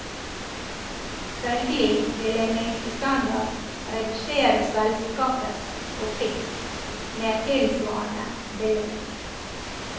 Følgelig vil en minstestandard redusere selskapets profitt med et tilsvarende beløp.